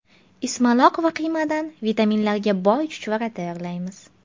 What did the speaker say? Ismaloq va qiymadan vitaminlarga boy chuchvara tayyorlaymiz.